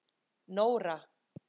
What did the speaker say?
Nóra